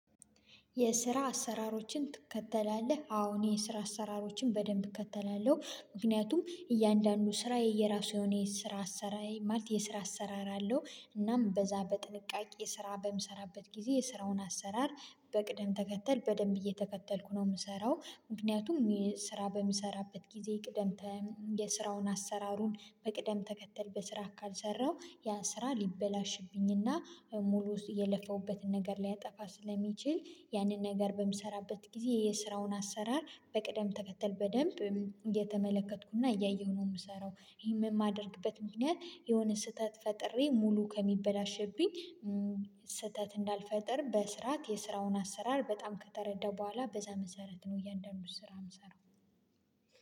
የስራ አሰራሮችን ትከተላለህ? አዎ እኔ የስራ አሰራሮችን በደንብ እከተላለሁ ምክንያቱም እያንዳንዱ ስራ የየራሱ የሆነ የስራ አሰራር ማለት የስራ አሰራር አለው። እናም በዛ በጥንቃቄ ስራ በምሰራበት ጊዜ የስራውን አሰራር በቅደም ተከተል በደንብ እየተከተልኩ ነው የምሰራው ምክንያቱም ስራ በምሰራበት ጊዜ ቅደም የስራውን አሰራሩን በቅደም ተከተል በስርዓት ካልሰራው ያ ስራ ሊበላሽብኝና ሙሉውን የለፋውበትን ነገር ሊያጠፋ ስለሚችል ያንን ነገር በምሰራበት ጊዜ የስራውን አሰራር በቅደም ተከተል በደንብ እየተመለከትኩና እያየሁ ነው የምሰራው። ይሄን የማደርግበት ምክንያት የሆነ ስህተት ፈጥሬ ሙሉ ከሚበላሸብኝ ስህተት እንዳልፈጥር በስራት የስራውን አሰራር በጣም ከተረዳው በኋላ በዛ መሰረት ነው እያንዳንዱን ስራ የምሰራው።